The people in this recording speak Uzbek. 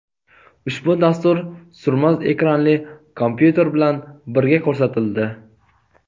Ushbu dastur surma ekranli kompyuter bilan birga ko‘rsatildi.